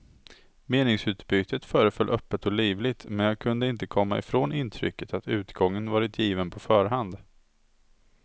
Meningsutbytet föreföll öppet och livligt, men jag kunde inte komma ifrån intrycket att utgången varit given på förhand.